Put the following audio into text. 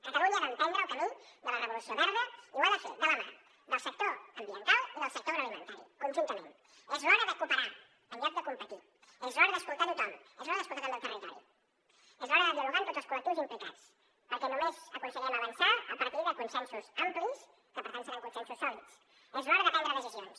catalunya ha d’emprendre el camí de la revolució verda i ho ha de fer de la mà del sector ambiental i del sector agroalimentari conjuntament és l’hora de cooperar en lloc de competir és l’hora d’escoltar tothom és l’hora d’escoltar també el territori és l’hora de dialogar amb tots els col·lectius implicats perquè només aconseguirem avançar a partir de consensos amplis que per tant seran consensos sòlids és l’hora de prendre decisions